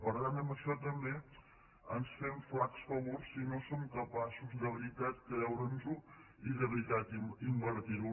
per tant amb això també ens fem flacs favors si no som capaços de veritat de creure’ns ho i de veritat invertir ho